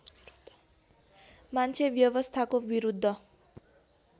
मान्छे व्यवस्थाको विरुद्ध